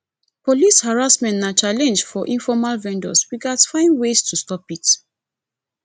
police harassment na challenge for informal vendors we gats find ways to stop it